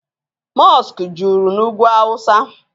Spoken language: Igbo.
Mọskụ juru na ugwu awụsa.